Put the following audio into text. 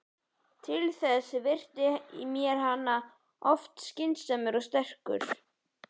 Til þess virtist mér hann alltof skynsamur og sterkur.